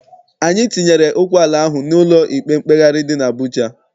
Anyị tinyere okwu ala ahụ n'ụlọ ikpe mkpegharị dị n'Abụja.